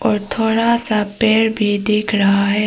और थोड़ा सा पेड़ भी दिख रहा है।